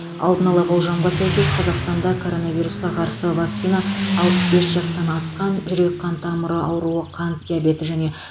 алдын ала болжамға сәйкес қазақстанда коронавирусқа қарсы вакцина алпыс бес жастан асқан жүрек қан тамыры ауруы қант диабеті және